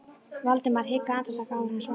Valdimar hikaði andartak áður en hann svaraði.